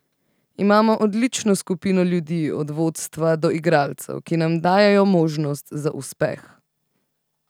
Imamo odlično skupino ljudi, od vodstva do igralcev, ki nam dajejo možnost za uspeh.